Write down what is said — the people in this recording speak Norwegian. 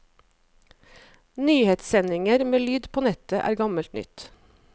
Nyhetssendinger med lyd på nettet er gammelt nytt.